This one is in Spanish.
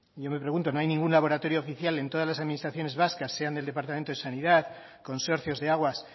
yo me pregunto no hay ningún laboratorio oficial en todas las administraciones vascas sean del departamento de sanidad consorcios de aguas